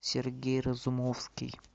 сергей разумовский